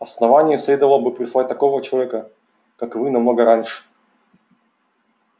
основанию следовало бы прислать такого человека как вы намного раньше